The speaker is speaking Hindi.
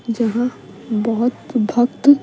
जहां बहुत भक्त।